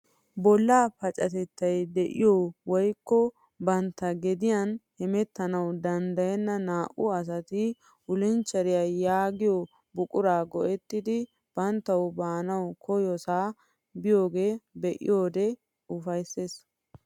Bollaa pacatetay de'iyo woyikko bantta gediyan hemettanawu dandayenna naa"u asati wulcheriya yaagiyo buquraa go'ettidi banttaw baana koyossa biyogaa be'iyoode ufayisses.